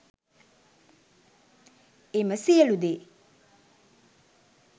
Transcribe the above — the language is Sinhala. එම සියලු දේ